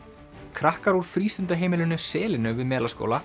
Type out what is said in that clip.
krakkar úr frístundaheimilinu selinu við Melaskóla